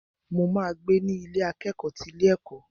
Mo ma gbé ní Ilé akẹ́kọ̀ọ́ ti ilé ẹ̀kọ́.